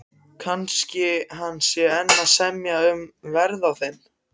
Kannski hann sé enn að semja um verð á þeim.